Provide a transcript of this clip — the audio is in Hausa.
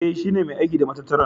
E, shi ne mai aiki da matattarar.